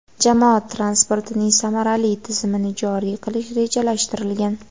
Jamoat transportining samarali tizimini joriy qilish rejalashtirilgan.